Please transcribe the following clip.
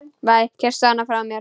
Kysstu hann frá mér.